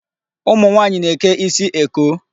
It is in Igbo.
Ụmụ nwaanyị na-eke isi eko.